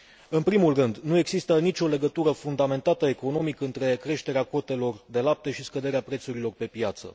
În primul rând, nu există nicio legătură fundamentată economic între creșterea cotelor de lapte și scăderea prețurilor pe piață.